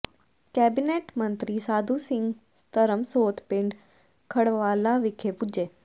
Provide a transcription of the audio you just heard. cabinet ਮੰਤਰੀ ਸਾਧੂ ਸਿੰਘ ਧਰਮਸੋਤ ਪਿੰਡ ਖਲਵਾੜਾ ਵਿਖੇ ਪੁੱਜੇ